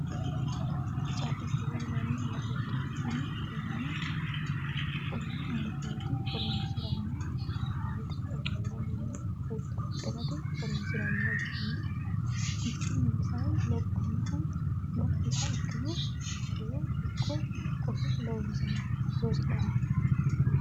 carrichoho yinanni murooti tini. tenne muroti horosino baadiyyete olliira mannu huxxa huxxirate horonsirannoha ikkanna hakkiichinnino sae lophiha ikkiro badirono ikko kosho loonsanni.